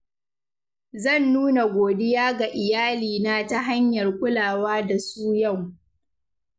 Zan nuna godiya ga iyalina ta hanyar kulawa da su yau.